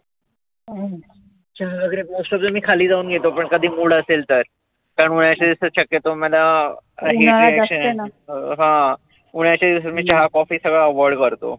चहा वगैरे most of the मी खाली जाऊन घेतो पण कधी mood असेल तर. त्या शक्यतो मला हे जे हा उन्हाळ्याच्या दिवसात मी चहा coffee सगळ avoid करतो.